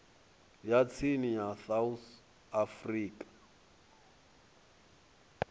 ya tsini ya south african